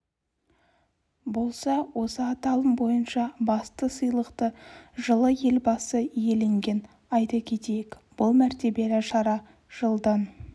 болса осы аталым бойынша басты сыйлықты жылы елбасы иеленген айта кетейік бұл мәртебелі шара жылдан